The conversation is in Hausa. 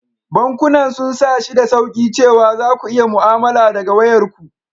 Bankunan sun sa shi da sauƙi cewa za ku iya yin mu'amala daga wayarku.